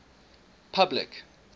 public